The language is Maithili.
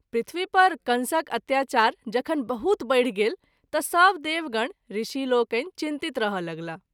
पृथ्वी पर कंसक अत्याचार जखन बहुत बैढि गेल त’ सभ देवगण, ऋषि लोकनि चिंतित रहय लगलाह।